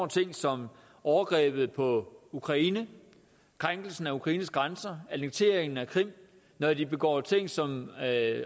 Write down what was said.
ting som overgrebet på ukraine krænkelsen af ukraines grænser annekteringen af krim når de begår ting som at